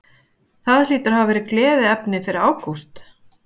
Það hlýtur að vera gleðiefni fyrir Ágúst?